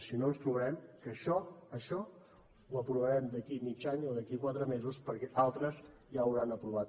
si no ens trobarem que això això ho aprovarem d’aquí a mig any o d’aquí a quatre mesos perquè altres ja ho hauran aprovat